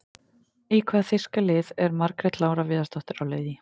Í hvaða þýska lið er Margrét Lára Viðarsdóttir á leið í?